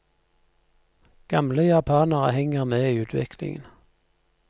Gamle japanere henger med i utviklingen.